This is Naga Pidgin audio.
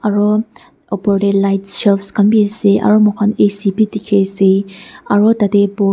aro opor tae light shelf khan bi ase aro mokhan A_C dikhiase aro tatae--